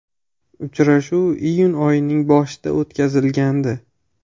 Uchrashuv iyun oyining boshida o‘tkazilgandi.